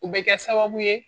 U bɛ kɛ sababu ye